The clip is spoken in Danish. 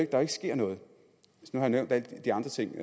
der ikke sker noget jeg har nævnt de andre ting